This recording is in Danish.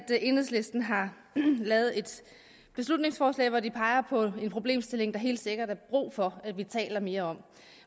enhedslisten har lavet et beslutningsforslag hvori de peger på en problemstilling der helt sikkert er brug for at vi taler mere om